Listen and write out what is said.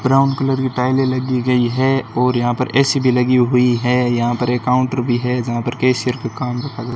brown colour की टाईले लगी गई है और यहा पर ए_सी भी लगी हुई है यहाँ पर एक काउंटर भी है जहाँ पर कैशियर का काम--